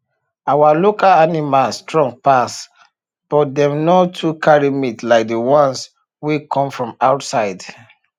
our local animals strong pass but dem no too carry meat like the ones wey come from outside